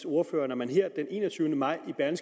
ordfører når man her den enogtyvende maj